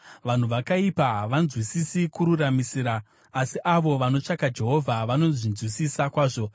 Vanhu vakaipa havanzwisisi kururamisira, asi avo vanotsvaka Jehovha vanozvinzwisisa kwazvo.